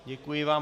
Děkuji vám.